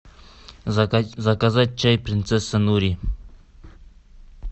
заказать чай принцесса нури